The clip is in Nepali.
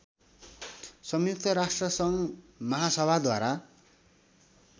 संयुक्त राष्ट्रसङ्घ महासभाद्वारा